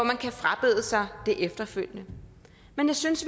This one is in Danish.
man kan frabede sig det efterfølgende men jeg synes